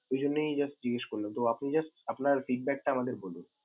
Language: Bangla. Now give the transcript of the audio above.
ওইজন্যেই just জিজ্ঞেস করলাম, তো আপনি just আপনার feedback টা আমাদের বলুন।